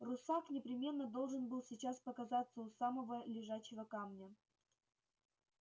русак непременно должен был сейчас показаться у самого лежачего камня